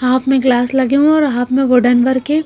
Half में glass और half में वुडन वर्क है।